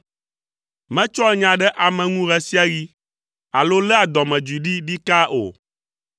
Metsɔa nya ɖe ame ŋu ɣe sia ɣi, alo léa dɔmedzoe ɖi ɖikaa o.